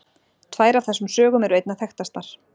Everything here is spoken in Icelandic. Tvær af þessum sögum eru einna þekktastar.